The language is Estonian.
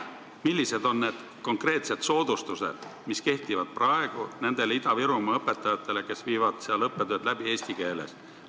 Millised on konkreetsed soodustused, mis kehtivad praegu nendele Ida-Virumaa õpetajatele, kes viivad seal õppetööd läbi eesti keeles?